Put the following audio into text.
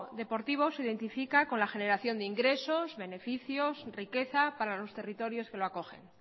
deportivo se identifica con la generación de ingresos beneficios riqueza para los territorios que lo acogen